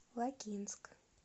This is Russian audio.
лакинск